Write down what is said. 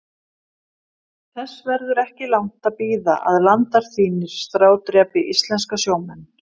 Þess verður ekki langt að bíða að landar þínir strádrepi íslenska sjómenn.